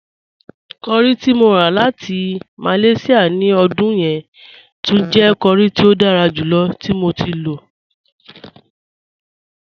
Curry ti mo rà láti Malaysia ní ọdún yẹn túń jẹ̀ curry tí o dára júlọ̀ tí mo ti lọ.